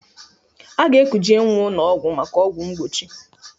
A ga-ekuje nnwa ụnọ ọgwụ maka ọgwụ mgbochi.